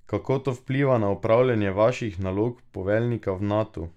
Kako to vpliva na opravljanje vaših nalog poveljnika v Natu?